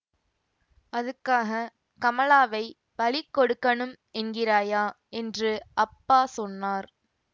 அதுக்காகக் கமலாவைப் பலி கொடுக்கணும் என்கிறாயா என்று அப்பா சொன்னார்